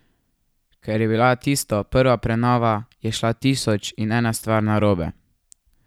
Ker je bila tisto prva prenova, je šla tisoč in ena stvar narobe.